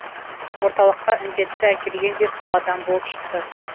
орталыққа індетті әкелген де сол адам болып шықты